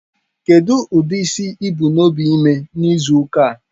Kedu ụdị isi ị bu n'obi ịme n'izu ụka a?